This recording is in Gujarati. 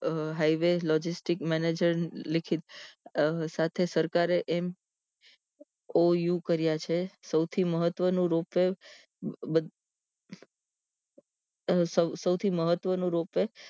અમ highway logistic manger લિખિત સાથે સરકારે MOU કર્યા છે સૌથી મહત્વ નું ropeway બધ સૌથી મહત્વ નું ropway